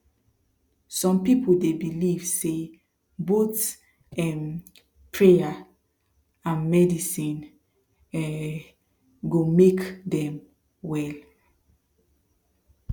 some people dey believe say both um prayer and medicine um go make dem well